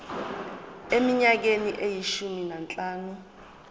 eminyakeni eyishumi nanhlanu